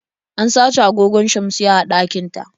An sace agogon shamsiyya a ɗakin ta.